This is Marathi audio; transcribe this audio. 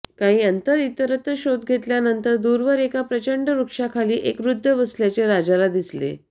काही अंतर इतरत्र शोध घेतल्यानंतर दूरवर एका प्रचंड वृक्षाखाली एक वृद्ध बसल्याचे राजाला दिसले